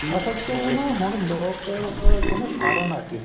ਅਸਲ ਵਿੱਚ ਨਾ ਹੁਣ ਲੋਕ ਕਹਿੰਦੇ ਸਾਰਨ ਲੱਗ ਗਏ